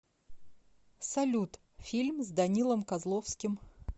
салют фильм с данилом козловским